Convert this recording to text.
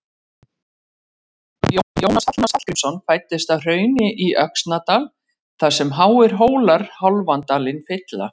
Þjóðskáldið Jónas Hallgrímsson fæddist að Hrauni í Öxnadal þar sem háir hólar hálfan dalinn fylla.